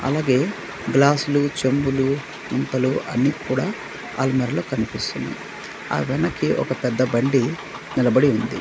అలాగే గ్లాసులు చెంబులు ముంతలు అన్నీ కూడా అల్మరలో కనిపిస్తున్నయ్ ఆ వెనక్కి ఒక పెద్ద బండి నిలబడి ఉంది.